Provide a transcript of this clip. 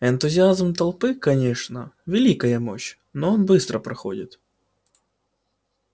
энтузиазм толпы конечно великая вещь но он быстро проходит